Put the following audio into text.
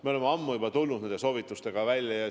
Me oleme ammu juba nende soovitustega välja tulnud.